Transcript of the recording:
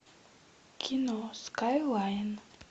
кино скайлайн